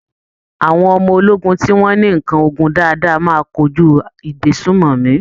Àwọn ọmọ ológun tí wọ́n ní ǹkan ogun dáadáa máa kojú ìgbésùmọ̀mí.